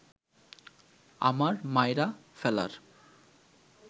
আমার মাইরা ফেলার